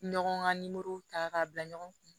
Ɲɔgɔn ka ta k'a bila ɲɔgɔn kun